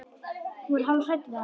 Hún var hálf hrædd við hann.